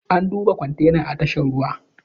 An duba kwantena a tashar ruwa